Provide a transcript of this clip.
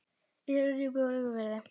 Ísafjarðardjúpi og Jökulfirði.